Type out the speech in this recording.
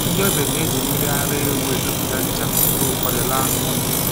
Ndị ọbịa na-eji mmiri ara ewu emepụta ncha ma were ụfọdụ laa n'ụlọ